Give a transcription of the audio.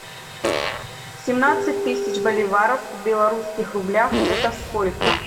семнадцать тысяч боливаров в белорусских рублях это сколько